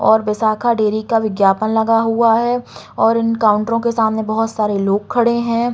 और विशाखा डेयरी का विज्ञापन लगा हुआ है और उन काउंटरो के सामने बहुत सारे लोग खड़े हैं।